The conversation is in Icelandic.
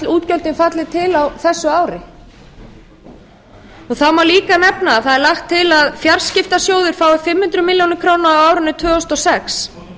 útgjöldin falli til á þessu ári það má líka nefna að það er lagt til að fjarskiptasjóður fái fimm hundruð milljóna króna á árinu tvö þúsund og sex